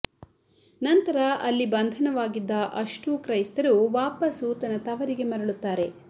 ನಂತರ ಅಲ್ಲಿ ಬಂಧನವಾಗಿದ್ದ ಅಷ್ಟೂ ಕ್ರೈಸ್ತರು ವಾಪಾಸು ತನ್ನ ತವರಿಗೆ ಮರಳುತ್ತಾರೆ